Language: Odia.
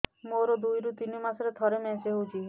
ମୋର ଦୁଇରୁ ତିନି ମାସରେ ଥରେ ମେନ୍ସ ହଉଚି